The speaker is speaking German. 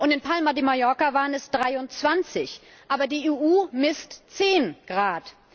Und in Palma de Mallorca waren es 23 Grad. Aber die EU misst 10 Grad.